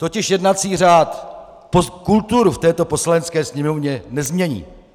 Totiž jednací řád kulturu v této Poslanecké sněmovně nezmění.